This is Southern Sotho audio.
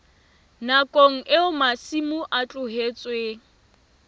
nakong eo masimo a tlohetsweng